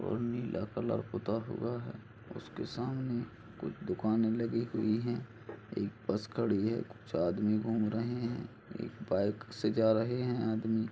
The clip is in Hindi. और नीला कलर पुता हुआ है उसके सामने कुछ दुकान लगी हुई है एक बस खड़ी है कुछ आदमी घूम रहे है एक बाइक से जा रहे आदमी--